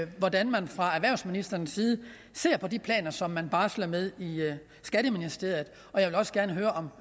hvordan man fra erhvervsministerens side ser på de planer som man barsler med i skatteministeriet jeg vil også gerne høre